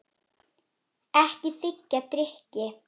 Ekki þiggja drykki.